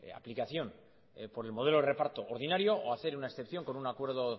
aplicación por el modelo de reparto ordinario o hacer una excepción con un acuerdo